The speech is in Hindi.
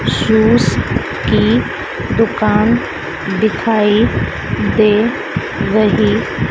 जूस की दुकान दिखाई दे रही--